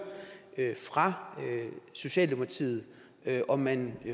fra socialdemokratiet om man